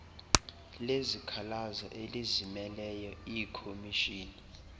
lezikhalazo elizimeleyo iikhomishini